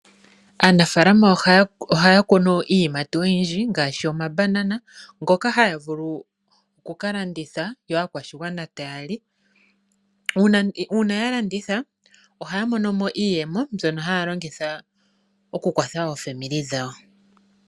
Aanafaalama ohaya kunu iiyimati ngaashi omambanana, ngoka haga vulu okukalandithwa , yo aakwashigwana taya li . Uuna yalanditha ohaya mono iiyemo mbyono haya longitha okukwatha aakwanezimo yawo.